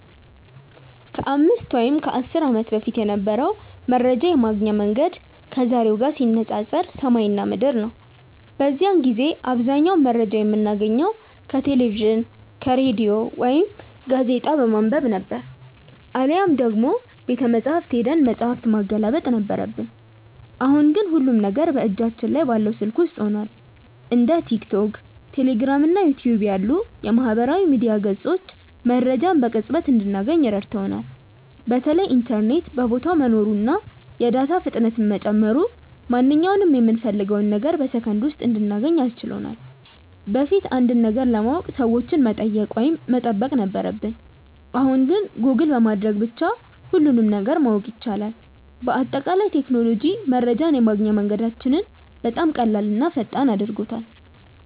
ከ5 ወይም ከ10 ዓመት በፊት የነበረው መረጃ የማግኛ መንገድ ከዛሬው ጋር ሲነፃፀር ሰማይና ምድር ነው። በዚያን ጊዜ አብዛኛውን መረጃ የምናገኘው ከቴሌቪዥን፣ ከሬዲዮ ወይም ጋዜጣ በማንበብ ነበር፤ አሊያም ደግሞ ቤተመጻሕፍት ሄደን መጽሐፍ ማገላበጥ ነበረብን። አሁን ግን ሁሉም ነገር በእጃችን ላይ ባለው ስልክ ውስጥ ሆኗል። እንደ ቲክቶክ፣ ቴሌግራም እና ዩቲዩብ ያሉ የማህበራዊ ሚዲያ ገጾች መረጃን በቅጽበት እንድናገኝ ረድተውናል። በተለይ ኢንተርኔት በየቦታው መኖሩና የዳታ ፍጥነት መጨመሩ ማንኛውንም የምንፈልገውን ነገር በሰከንድ ውስጥ እንድናገኝ አስችሎናል። በፊት አንድን ነገር ለማወቅ ሰዎችን መጠየቅ ወይም መጠበቅ ነበረብን፣ አሁን ግን ጎግል በማድረግ ብቻ ሁሉንም ነገር ማወቅ ይቻላል። በአጠቃላይ ቴክኖሎጂ መረጃን የማግኛ መንገዳችንን በጣም ቀላልና ፈጣን አድርጎታል።